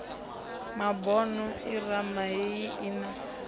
mabono irama heyi i na